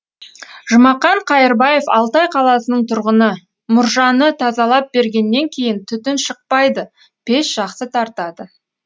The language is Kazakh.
жұмақан қайырбаев алтай қаласының тұрғыны мұржаны тазалап бергеннен кейін түтін шықпайды пеш жақсы тартады